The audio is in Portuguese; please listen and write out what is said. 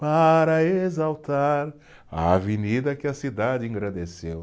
Para exaltar a avenida que a cidade engrandeceu.